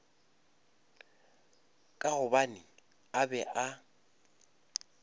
ka gobane a be a